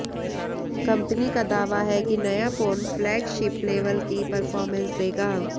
company का दावा है कि नया फोन फ्लैगशिप लेवल की परफॉर्मेंस देगा